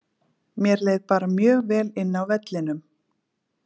Mér leið bara mjög vel inná vellinum.